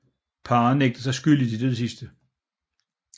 Parret nægtede sig skyldig til det sidste